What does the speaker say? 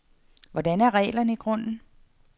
Hvordan er reglerne i grunden?